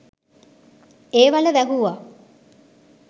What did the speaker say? ඒ වළ වැහුවා.